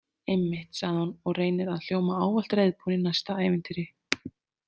Einmitt, sagði hún og reynir að hljóma ávallt reiðubúin í næsta ævintýri.